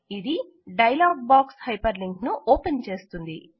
ఇది dialog box hyperlink ను open చేస్తుంది